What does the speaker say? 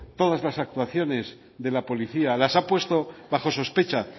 todas las actuaciones de la policía las ha puesto bajo sospecha